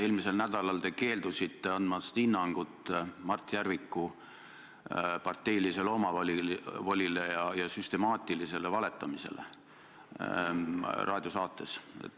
Eelmisel nädalal te keeldusite andmast hinnangut Mart Järviku parteilisele omavolile ja süstemaatilisele valetamisele raadiosaates.